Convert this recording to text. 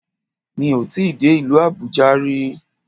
Mi ò tíì dé ìlú Àbújá ri